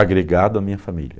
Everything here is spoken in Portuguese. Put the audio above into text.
agregado à minha família.